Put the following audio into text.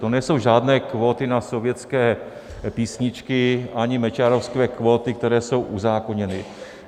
To nejsou žádné kvóty na sovětské písničky ani mečiarovské kvóty, které jsou uzákoněny.